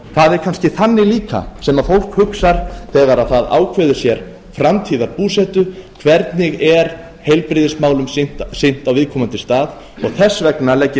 það er kannski þannig líka sem fólk hugsar þegar það ákveður sér framtíðarbúsetu hvernig er heilbrigðismálum sinnt á viðkomandi stað þess vegna legg ég